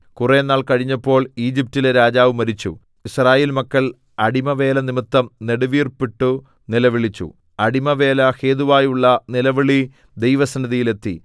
കുറെനാൾ കഴിഞ്ഞപ്പോൾ ഈജിപ്റ്റിലെ രാജാവ് മരിച്ചു യിസ്രായേൽ മക്കൾ അടിമവേല നിമിത്തം നെടുവീർപ്പിട്ടു നിലവിളിച്ചു അടിമവേല ഹേതുവായുള്ള നിലവിളി ദൈവസന്നിധിയിൽ എത്തി